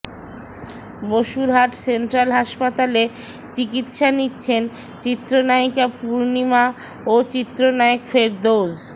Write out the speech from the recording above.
Basurhat central হাসপাতালে চিকিৎসা নিচ্ছেন চিত্রনায়িকা পূর্ণিমা ও চিত্রনায়ক ফেরদৌস